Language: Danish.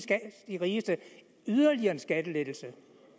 rigeste yderligere en skattelettelse